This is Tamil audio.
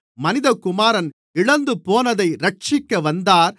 மனிதகுமாரன் இழந்துபோனதை இரட்சிக்க வந்தார்